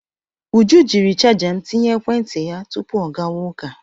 Uju jiri chaja m tinye ekwentị ya tupu ọ gawa ụka.